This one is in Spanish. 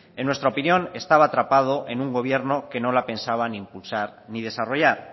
en nuestra opinión estaba atrapado en un gobierno que no la pensaba ni impulsar ni desarrollar